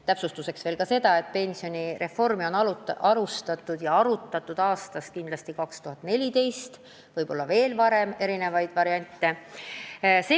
Täpsustuseks ka nii palju, et pensionireformi alustati aastal 2014, aga arutatud ja erinevaid variante on välja käidud varemgi.